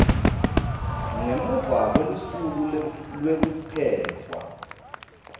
ngemuva kwelusuku lwekukhetfwa